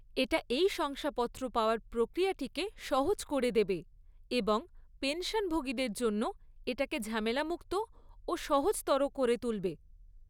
এটা এই শংসাপত্র পাওয়ার প্রক্রিয়াটিকে সহজ করে দেবে এবং পেনশনভোগীদের জন্য এটাকে ঝামেলামুক্ত ও সহজতর করে তুলবে।